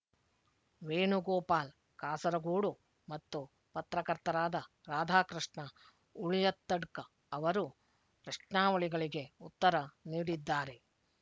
ವೇಣುಗೋಪಾಲ್ ಕಾಸರಗೋಡು ಮತ್ತು ಪತ್ರಕರ್ತರಾದ ರಾಧಾಕೃಷ್ಣ ಉಳಿಯತ್ತಡ್ಕ ಅವರು ಪ್ರಶ್ನಾವಳಿಗಳಿಗೆ ಉತ್ತರ ನೀಡಿದ್ದಾರೆ